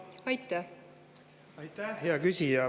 Aitäh, hea küsija!